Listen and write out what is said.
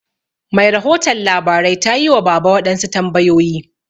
Mai rahoton labarai tayi wa baba waɗansu tambayoyi.